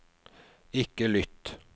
ikke lytt